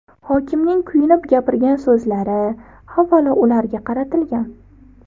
Hokimning kuyinib gapirgan so‘zlari, avvalo, ularga qaratilgan.